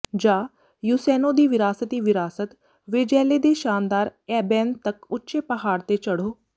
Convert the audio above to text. ਜਾਂ ਯੂਸੇਨੋ ਦੀ ਵਿਰਾਸਤੀ ਵਿਰਾਸਤ ਵੈਜੈਲੇ ਦੇ ਸ਼ਾਨਦਾਰ ਐਬੇਨ ਤੱਕ ਉੱਚੇ ਪਹਾੜ ਤੇ ਚੜ੍ਹੋ